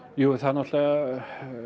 jú það er náttúrulega